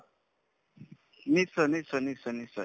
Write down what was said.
নিশ্চয় নিশ্চয় নিশ্চয় নিশ্চয়